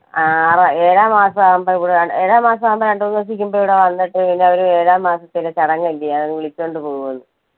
ആറാ ഏഴാം മാസം ആകുമ്പോൾ~ഏഴാം മാസം ആകുമ്പോൾ രണ്ടുമൂന്നു ദിവസത്തേക്ക് മുൻപ് ഇവിടെ വന്നിട്ട് പിന്നെ അവര് ഏഴാം മാസത്തിന്റെ ചടങ്ങല്ലേ അത് അങ്ങ് വിളിച്ചോണ്ട് പോകുമെന്ന്.